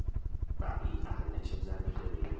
paia i netshedza mitevhe yo